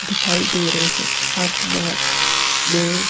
दिखाई दे रहे हैं आसमान में।